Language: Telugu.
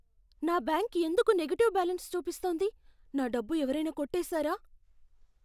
నా బ్యాంక్ ఎందుకు నెగెటివ్ బ్యాలెన్స్ చూపిస్తోంది? నా డబ్బు ఎవరైనా కొట్టేసారా?